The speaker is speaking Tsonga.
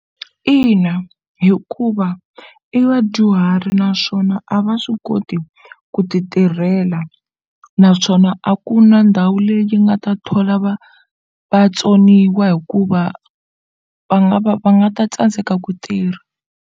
Ina, hikuva i vadyuhari naswona a va swi koti ku ti tirhela naswona a ku na ndhawu leyi nga ta thola vatsoniwa hikuva va nga va va nga ta tsandzeka ku tirha.